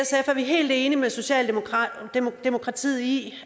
er vi helt enig med socialdemokratiet i